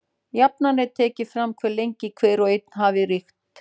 Jafnan er tekið fram hve lengi hver og einn hafi ríkt.